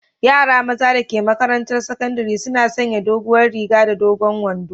Yara maza da ke maƙarantan saƙandari suna sanƴe doguwar riga da dogon wanɗo.